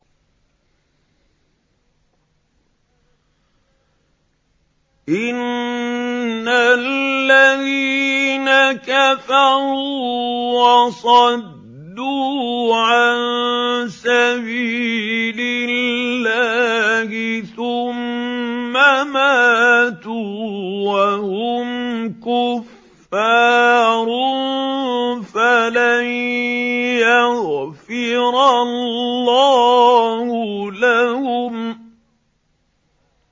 إِنَّ الَّذِينَ كَفَرُوا وَصَدُّوا عَن سَبِيلِ اللَّهِ ثُمَّ مَاتُوا وَهُمْ كُفَّارٌ فَلَن يَغْفِرَ اللَّهُ لَهُمْ